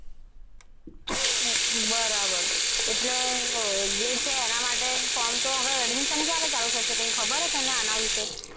બરાબર. એટલે જે છે એના માટે form તો હે admission ક્યારે ચાલુ થશે તને કંઈ ખબર છે આના વિશે.